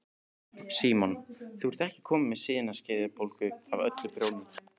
Símon: Þú ert ekkert komin með sinaskeiðabólgu af öllu prjóninu?